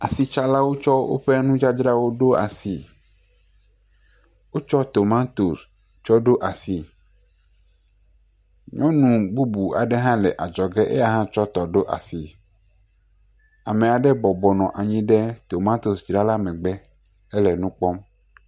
Asitsalawo tsɔ woƒe nudzadzrawo ɖo asi, wotsɔ tomatos tsɔ ɖo asi, nyɔnu bubu aɖe hã le adzɔge, ye hã tsɔ etɔ ɖo asi, ame aɖe bɔbɔ nɔ anyi ɖe tomatosdzrala megbe hele nu kpɔm.